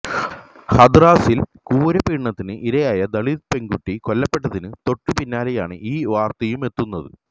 ഹത്റാസില് ക്രൂരപീഡനത്തിന് ഇരയായി ദളിത് പെണ്കുട്ടി കൊല്ലപ്പെട്ടതിന് തൊട്ട് പിന്നാലെയാണ് ഈ വാര്ത്തയുമെത്തുന്നത്